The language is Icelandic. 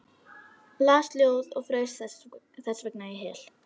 Las ljóð og fraus þessvegna í hel.